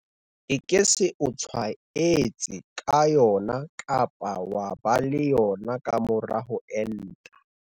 E ke se o tshwaetse ka yona kapa wa ba le yona ka mora ho enta.